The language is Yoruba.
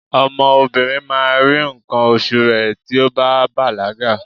ọmọ obinrin ma ri nkan osu rẹ ti o ba balaga